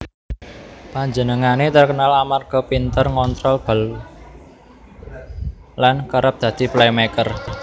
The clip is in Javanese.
Panjenengané terkenal amarga pinter ngontrol bal lan kerep dadi playmaker